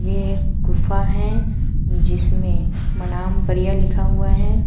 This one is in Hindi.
ये एक गुफा है जिसमें मनाम परिया लिखा हुआ है।